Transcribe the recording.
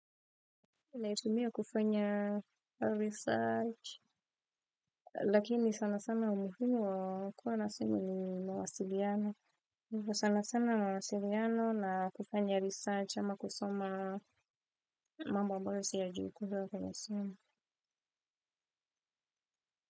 Naitumia kufanya research lakini sana sana umuhimu wa kuwa na simu ni mawasiliano. Ni sana sana mawasiliano na kufanya research ama kusoma mambo amboyo si ya juu kuhua kwa nasimu.